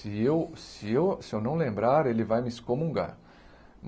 Se eu se eu se eu não lembrar, ele vai me excomungar.